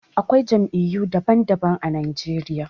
Akwai Jam'iyyu daban daban a Najeriya